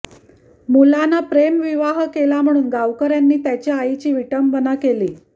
मुलानं प्रेमविवाह केला म्हणून गावकऱ्यांनी त्याच्या आईची विटंबना केली